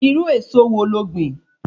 Irú èso wo lo gbìn?